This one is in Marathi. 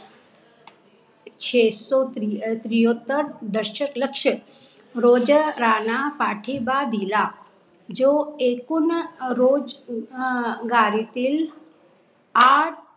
छेसो त्री त्रैहत्तर दशलक्ष रोजगाराना पाठिबा दिला. जो एकुण रोजगारीतील आठ